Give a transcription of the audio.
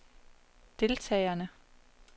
deltagerne